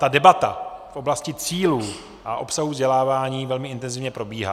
Ta debata v oblasti cílů a obsahu vzdělávání velmi intenzivně probíhá.